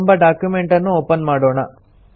ಎಂಬ ಡಾಕ್ಯುಮೆಂಟನ್ನು ಒಪನ್ ಮಾಡೋಣ